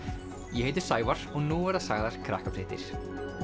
ég heiti Sævar og nú verða sagðar Krakkafréttir